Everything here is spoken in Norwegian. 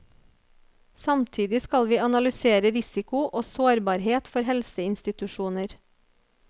Samtidig skal vi analysere risiko og sårbarhet for helseinstitusjoner.